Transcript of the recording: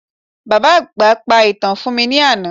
Bàbá àgbà pa ìtàn fún mi ní àná